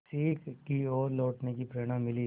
सीख की ओर लौटने की प्रेरणा मिली